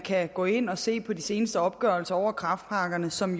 kan gå ind og se på de seneste opgørelser over kræftpakkerne som